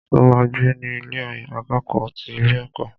Ṣo ma gbé ní Ilé akẹ́kọ̀ọ́ ti ilé ẹ̀kọ́?